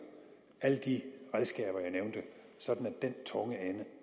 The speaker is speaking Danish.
alle de redskaber jeg nævnte sådan at den tunge ende